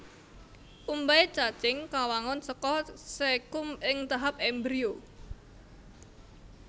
Umbai cacing kawangun saka caecum ing tahap embrio